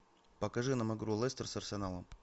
покажи нам игру лестер с арсеналом